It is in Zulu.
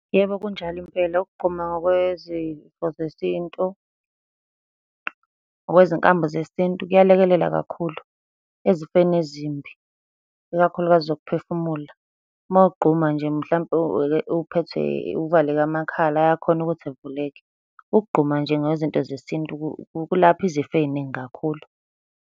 Yebo, kunjalo impela. Ukugquma ngokwezifo zesintu, ngokwezinkambo zesintu kuyalekelela kakhulu ezifeni ezimbi, ikakhulukazi zokuphefumula. Uma ugquma nje mhlampe uphethwe uvaleke amakhala ayakhona ukuthi avuleke. Ukugquma nje ngezinto zesintu kulapha izifo ey'ningi kakhulu.